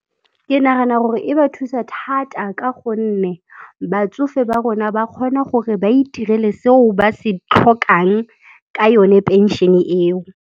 Ke nagana gore e ba thusa thata ka gonne batsofe ba rona ba kgona gore ba itirele seo ba se tlhokang ka yone phenšene eo.